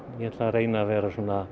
ég ætla að reyna að vera